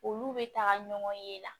Olu bɛ taga ɲɔgɔn ye la